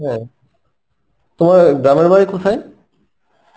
হ্যাঁ, তোমার গ্রামের বাড়ি কোথায়?